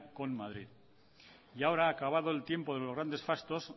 con madrid y ahora acabado el tiempo de los grandes fastos